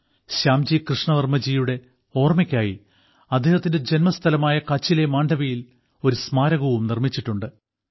ശ്യാംജി കൃഷ്ണവർമ്മജിയുടെ ഓർമ്മയ്ക്കായി അദ്ദേഹത്തിന്റെ ജന്മസ്ഥലമായ കച്ചിലെ മാണ്ഡവിയിൽ ഒരു സ്മാരകവും നിർമ്മിച്ചിട്ടുണ്ട്